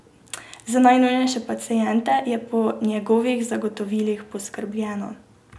Za najnujnejše paciente je po njegovih zagotovilih poskrbljeno.